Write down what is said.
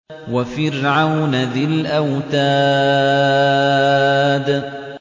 وَفِرْعَوْنَ ذِي الْأَوْتَادِ